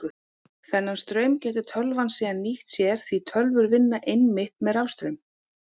Þennan straum getur tölvan síðan nýtt sér því tölvur vinna einmitt með rafstraum.